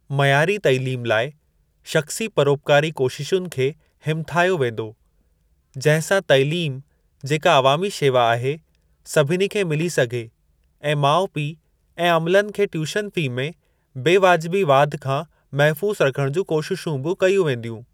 मयारी तैलीम लाइ शख़्सी परोपकारी कोशिशुनि खे हिमथायो वेंदो, जहिं सां तैलीम जेका अवामी शेवा आहे, सभिनी खे मिली सघे ऐं माउ पीउ ऐं अमलनि खे ट्यूशन फ़ी में बेवाजिबी वाधि खां महफूज़ रखण जूं कोशिशूं बि कयूं वेंदियूं।